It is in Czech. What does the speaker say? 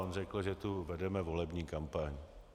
On řekl, že tu vedeme volební kampaň.